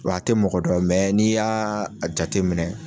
Wa a tɛ mɔgɔ dɔ n'i y'a a jateminɛ